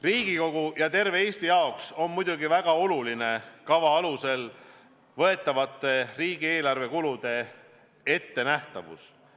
Riigikogu ja terve Eesti jaoks on väga oluline kava alusel riigieelarvele kaasnevate kulude ettenähtavus.